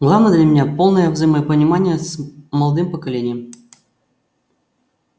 главное для меня полное взаимопонимание с молодым поколением